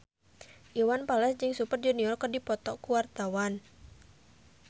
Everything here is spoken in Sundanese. Iwan Fals jeung Super Junior keur dipoto ku wartawan